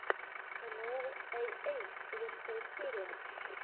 энуэл эй эй лучшая серия